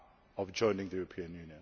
time of joining the Union.